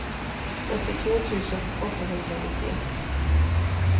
åttiotvå tusen åttahundranittioett